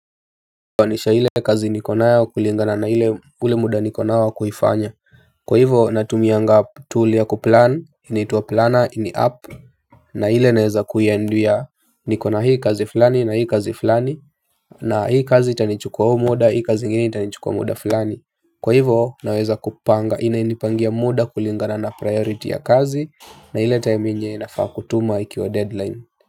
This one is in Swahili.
Anisha ile kazi niko nayo kulingana na ile ule muda niko nao wa kuifanya. Kwa hivyo natumianga tool ya kuplan inaitwa planner, ni app. Na ile naweza kuiambia niko na hii kazi fulani na hii kazi fulani. Na hii kazi itanichukua huu muda, hii kazi ingine itanichukua muda fulani. Kwa hivyo naweza kupanga, inanipangia muda kulingana na priority ya kazi na ile time yenye nafaa kutuma ikiwa deadline.